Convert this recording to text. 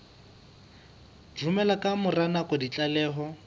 romela ka mora nako ditlaleho